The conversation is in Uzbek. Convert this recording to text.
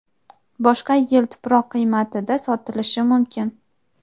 boshqa yil tuproq qiymatida sotilishi mumkin.